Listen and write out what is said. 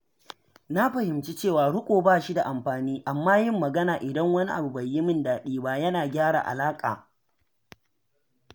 Na fahimci cewa riƙo bashi da amfani, amma yin magana idan wani abu bai yi min daidai ba yana gyara alaƙa.